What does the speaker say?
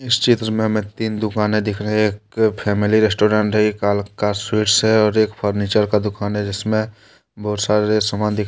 इस चित्र में हमें तीन दुकानें दिखा है एक फैमिली रेस्टोरेंट है एक कालका स्वीट्स है और एक फर्नीचर का दुकान है जिसमें बहुत सारे सामान दिख ।